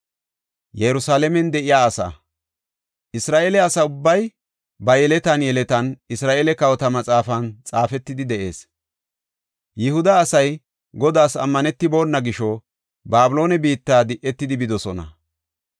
Isra7eele asa ubbay ba yeletan yeletan, Isra7eele kawota maxaafan xaafetidi de7ees. Yihuda asay Godaas ammanetibona gisho Babiloone biitta di7etidi bidosona.